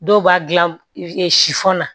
Dɔw b'a gilan sifɔn na